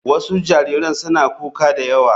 Wasu jariran suna kuka da yawa.